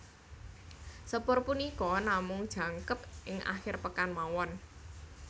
Sepur punika namung jangkep ing akhir pekan mawon